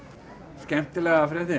skemmtilega fréttin